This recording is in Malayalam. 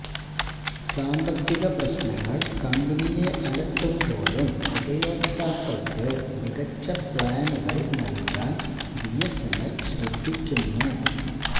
സാമ്പത്തിക പ്രശ്നങ്ങൾ കമ്പനിയെ അലട്ടുമ്പോഴും ഉപയോക്താക്കൾക്ക് മികച്ച പ്ലാനുകൾ നൽകാൻ ബിഎസ്എൻഎൽ ശ്രദ്ധിക്കുന്നു